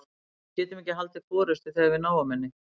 Við getum ekki haldið forystu þegar við náum henni.